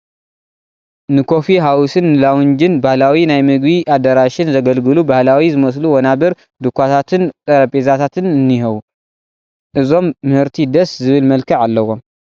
ንኮፊ ሃውስን ንላውንጅን ባህላዊ ናይ ምግቢ ኣዳራሽን ዘገልግሉ ባህላዊ ዝመስሉ ወናብር፣ ዱኻታትን ጠረጴዛትን እኔዉ፡፡ እዞም ምህርቲ ደስ ዝብል መልክዕ ኣለዎም፡፡